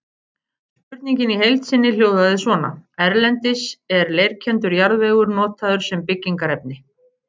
Spurningin í heild sinni hljóðaði svona: Erlendis er leirkenndur jarðvegur notaður sem byggingarefni.